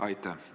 Aitäh!